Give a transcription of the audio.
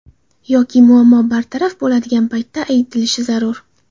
Yoki muammo bartaraf bo‘ladigan paytda aytilishi zarur.